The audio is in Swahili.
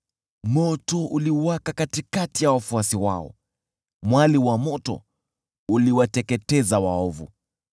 Moto uliwaka katikati ya wafuasi wao, mwali wa moto uliwateketeza waovu.